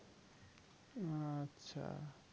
আচ্ছা।